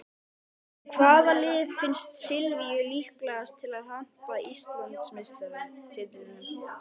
En hvaða lið finnst Silvíu líklegast til að hampa Íslandsmeistaratitlinum?